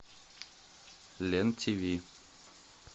лен тиви